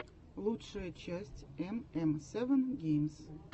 лучшая часть эм эм севен геймс